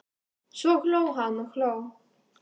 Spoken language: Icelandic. Svo hló hann og hló.